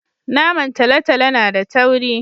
Naman talotalo na da tauri